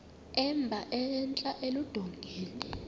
emba entla eludongeni